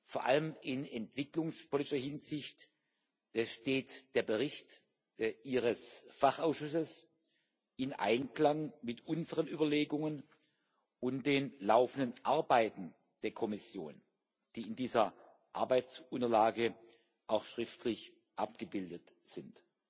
Vor allem in entwicklungspolitischer Hinsicht steht der Bericht Ihres Fachausschusses im Einklang mit unseren Überlegungen und den laufenden Arbeiten der Kommission, die in dieser Arbeitsunterlage auch schriftlich abgebildet sind.